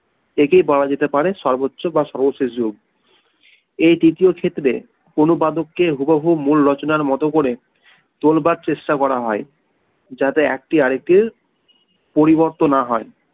একেই বলা যেতে পারে সর্বোচ্চ বা সর্বশেষ যুগ এই তৃতীয় ক্ষেত্রে অনুবাদকে হুবহু মূল রচনার মত করে তোলবার চেষ্টা করা হয় যাতে একটি আরেকটির পরিবর্তে না হয়